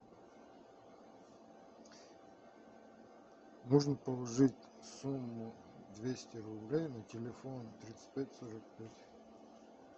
нужно положить сумму двести рублей на телефон тридцать пять сорок пять